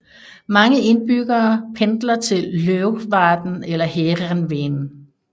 Mange indbyggere pendler til Leeuwarden eller Heerenveen